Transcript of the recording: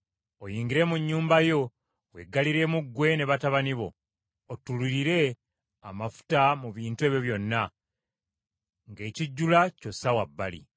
Oyingire mu nnyumba yo weggaliremu ggwe ne batabani bo, ottululire amafuta mu bintu ebyo byonna, ng’ekijjula ky’ossa wa bbali.”